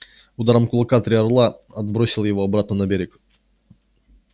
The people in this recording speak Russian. ударом кулака три орла отбросил его обратно на берег